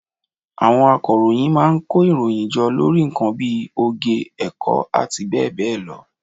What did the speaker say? Àwọn akọ̀ròyìn má a nkó ìròyìn jọ lórí nkan bí i oge, èkó àti béè béè lo